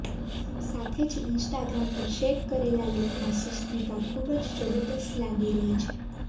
સાથે જ ઈન્સ્ટાગ્રામ પર શેક કરેલા લુકમાં સુષ્મિતા ખૂબ જ જબરજસ્ત લાગી રહી છે